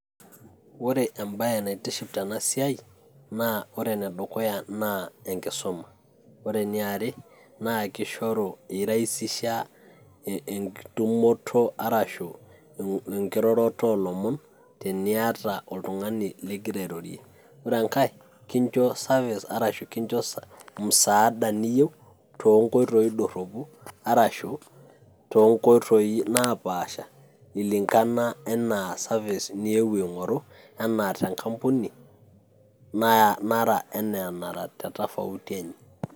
Ore ebae naitiship tenasiai na ore enedukuya naa enkisuma. Ore eniare, na kishoru, iraisisha enkitumoto arashu enkiroroto olomon, teniata oltung'ani ligira airorie. Ore enkae kincho service arashu kincho musaada niyieu, tonkoitoii dorropu arashu, tonkoitoii napaasha ilinkana enaa service niewuo aing'oru, enaa tenkampuni nara enaa anara tetofauti enye.